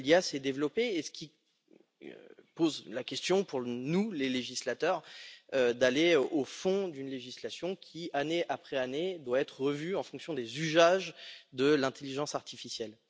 L'IA s'est donc développée, ce qui pose la question pour nous, les législateurs, d'aller au fond d'une législation qui, année après année, doit être revue en fonction des usages de cette intelligence artificielle.